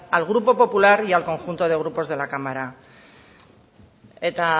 al grupo popular y al conjunto de los grupos de la cámara eta